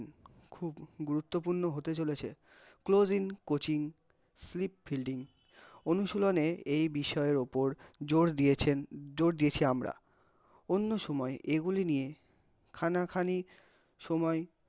গুরুত্তপূর্ণ হতে চলেছে, closing coacingsweep fielding অনুশীলনে এই বিষয়ের ওপর জোর দিয়েছেন, জোর দিয়েছি আমরা, অন্য সময় এইগুলি নিয়ে খানা খানি সময়